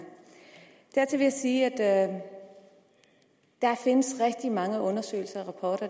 dertil vil jeg sige at der findes rigtig mange undersøgelser og